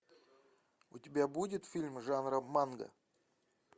у тебя будет фильм жанра манга